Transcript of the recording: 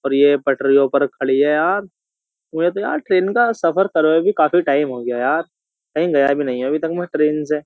और ये पटरियों पर खड़ी है यार मुझे तो यार ट्रेन का सफर करो भी काफी टाइम हो गया यार कहीं गया भी नहीं है अभी तक मैं ट्रेन से।